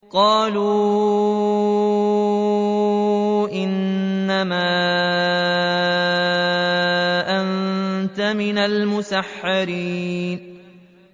قَالُوا إِنَّمَا أَنتَ مِنَ الْمُسَحَّرِينَ